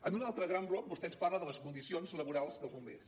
en un altre gran bloc vostè ens parla de les condicions laborals dels bombers